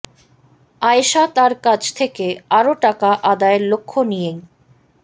আয়েশা তাঁর কাছ থেকে আরও টাকা আদায়ের লক্ষ্য নিয়েই